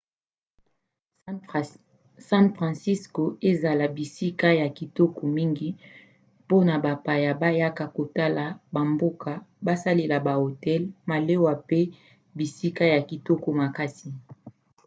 san francisco asala bisika ya kitoko mingi mpona bapaya bayaka kotala bamboka; basala bahotel malewa mpe bisika ya kitoko makasi